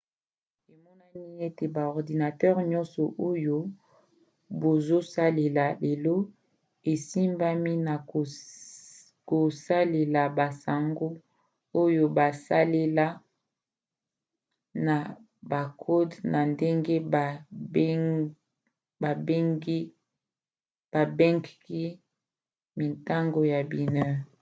emonani ete ba ordinatere nyonso oyo bazosalela lelo esimbami na kosalela basango oyo basala na bakode na ndenge babengki mintango ya binaire